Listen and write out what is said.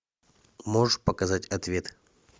можешь показать ответ